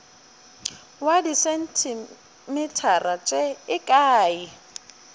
wa disentimetara tše e ka